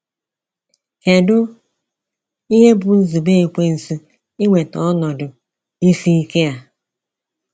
Kedụ ihe bụ nzube ekwensu iweta ọnọdụ isi ike a?